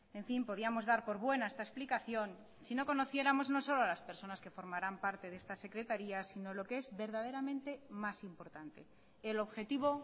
en fin podíamos dar por buena esta explicación si no conociéramos no solo a las personas que formarán parte de esta secretaría sino lo que es verdaderamente más importante el objetivo